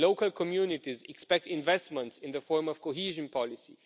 Local communities expect investments in the form of cohesion policy.